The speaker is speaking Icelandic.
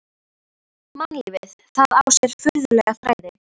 Mannlífið, það á sér furðulega þræði.